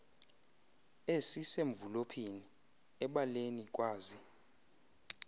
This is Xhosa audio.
esisemvulophini ebaleni kwazi